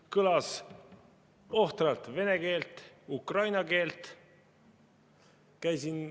Kõlas ohtralt vene keelt ja ukraina keelt.